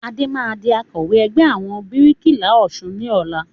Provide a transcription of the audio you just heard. Adé máa di Akọ̀wẹ́ ẹgbẹ́ àwọn bíríkìlà Ọ̀sun ni ọ̀la